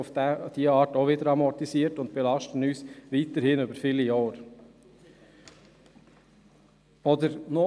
Auf diese Weise wäre das auch wieder amortisiert und würde uns weiterhin über viele Jahre hinweg belasten.